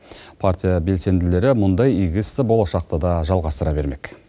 партия белсенділері мұндай игі істі болашақта да жалғастыра бермек